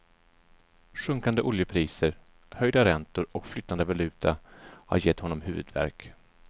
Sjunkande oljepriser, höjda räntor och flytande valuta har gett honom huvudvärk.